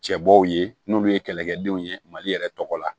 Cɛbɔw ye n'olu ye kɛlɛkɛdenw ye mali yɛrɛ tɔgɔ la